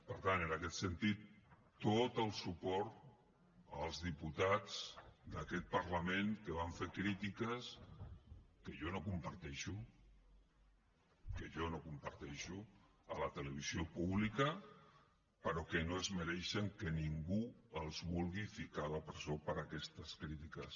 per tant en aquest sentit tot el suport als diputats d’aquest parlament que van fer crítiques que jo no comparteixo que jo no comparteixo a la televisió pública però que no es mereixen que ningú els vulgui ficar a la presó per aquestes crítiques